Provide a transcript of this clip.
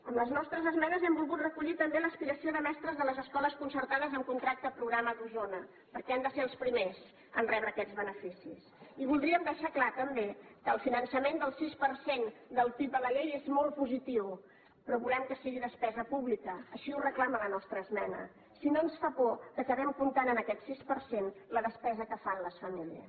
amb les nostres esmenes hem volgut recollir també l’aspiració de mestres de les escoles concertades amb contracte programa d’osona perquè han de ser els primers a rebre aquests beneficis i voldríem deixar clar també que el finançament del sis per cent del pib a la llei és molt positiu però volem que sigui despesa pública així ho reclama la nostra esmena si no ens fa por que acabem comptant amb aquest sis per cent de la despesa que fan les famílies